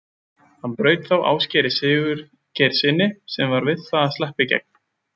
Hann braut þá Ásgeiri Sigurgeirssyni sem var við það að sleppa í gegn.